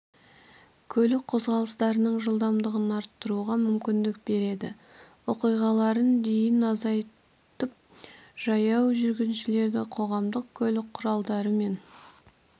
көлік қозғалыстарының жылдамдығын арттыруға мүмкіндік береді оқиғаларын дейін азайтып жаяу жүргіншілердің қоғамдық көлік құралдары мен